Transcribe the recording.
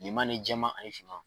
Bilema ni jɛman ani finman.